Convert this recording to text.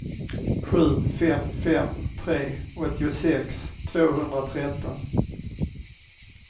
sju fem fem tre åttiosex tvåhundratretton